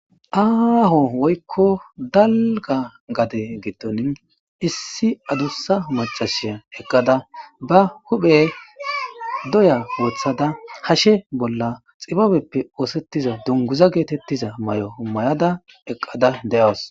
aho woyikko daliga gade gidon issi adusa macasiya eqada ba huphphe doya woththada hashe bolla xibbabepp oththetida mayo hashshe bolla woththada dunguza mayo mayida eqada de'awus